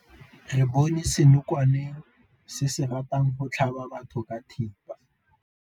Re bone senokwane se se ratang go tlhaba batho ka thipa.